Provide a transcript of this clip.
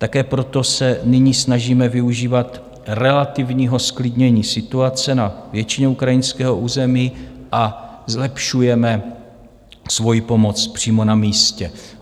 Také proto se nyní snažíme využívat relativního zklidnění situace na většině ukrajinského území a zlepšujeme svoji pomoc přímo na místě.